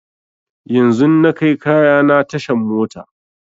Yanzun na kai kayana tashan mota